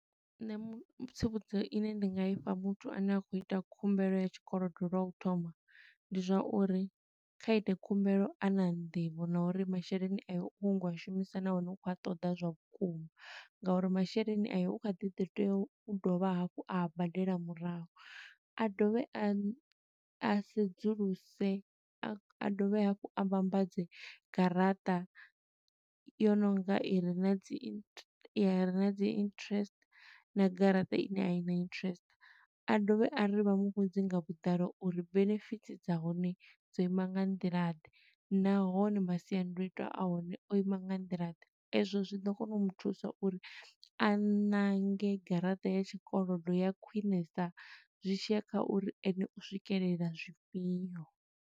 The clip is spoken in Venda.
Nṋe mu tsivhudzo ine nda nga ifha muthu ane a khou ita khumbelo ya tshikolodo lwa u thoma, ndi zwa uri kha ite khumbelo a na nḓivho na uri masheleni ayo u khou nyaga u a shumisa nahone u khou a ṱoḓa zwa vhukuma. Nga uri masheleni a yo u kha ḓi ḓo tea u dovha hafhu a badela murahu. A dovhe a a sedzuluse, a a dovhe hafhu a vhambadze garaṱa yo nonga i re na dzi inte, i re na dzi interest na garaṱa ine a i na interest. A dovhe a ri vha muvhudze nga vhuḓalo uri benefit dza hone dzo ima nga nḓila ḓe, nahone masiandoitwa a hone o ima nga nḓila ḓe. Ezwo zwi ḓo kona u muthusa uri a ṋange garaṱa ya tshikolodo ya khwiṋesa, zwi tshiya kha uri ene u swikelela zwifhiyo.